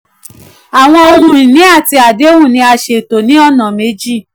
àwọn ohun ìní àti àdéhùn ni a ṣètò ní ọ̀nà méjì.